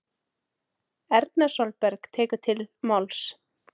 Erna Sólberg tekur til máls